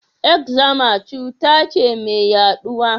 Eczema cuta ce mai yaduwa?